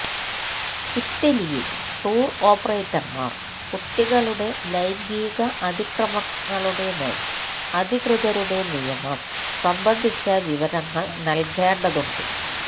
ഇറ്റലിയിൽ ടൂർ ഓപ്പറേറ്റർമാർ കുട്ടികളുടെ ലൈംഗിക അതിക്രമങ്ങളുടെ മേൽ അധികൃതരുടെ നിയമം സംബന്ധിച്ച വിവരങ്ങൾ നൽകേണ്ടതുണ്ട്